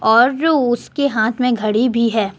और जो उसके हाथ में घड़ी भी है।